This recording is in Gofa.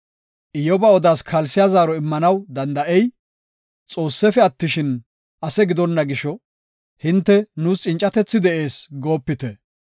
Iyyoba odaas kalsiya zaaro immanaw danda7ey, Xoossefe attishin, ase gidonna gisho, hinte, “Nuus cincatethi de7ees” goopite.